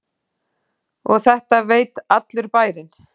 Og þetta veit allur bærinn?